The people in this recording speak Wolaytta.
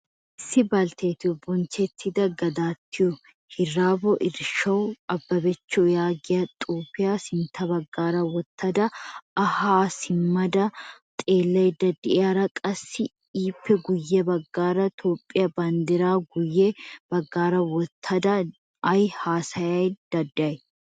Issi balttettiyo bonchchettida Godattiyo Hirboro Irasho Ababach yaagiyaa xuufiyaa sintta baggaara wottada ha simmada xeelaydda deiyaara, qassi ippe guye baggaara tophphiya banddira guye baggaara woottada ay hasayda deay?